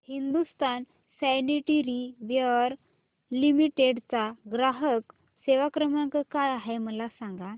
Hindustan sanitaryware limited चा ग्राहक सेवा क्रमांक काय आहे मला सांगा